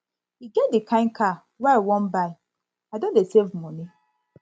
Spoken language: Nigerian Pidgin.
e get di kain car wey i wan buy i don dey save moni